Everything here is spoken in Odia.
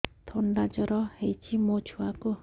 ଥଣ୍ଡା ଜର ହେଇଚି ମୋ ଛୁଆକୁ